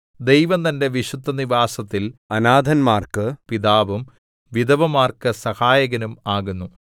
ദൈവം തന്റെ വിശുദ്ധനിവാസത്തിൽ അനാഥന്മാർക്ക് പിതാവും വിധവമാർക്ക് സഹായകനും ആകുന്നു